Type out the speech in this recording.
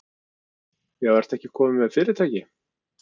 Já, ertu ekki kominn með fyrirtæki?